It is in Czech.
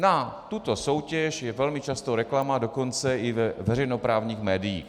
Na tuto soutěž je velmi často reklama, dokonce i ve veřejnoprávních médiích.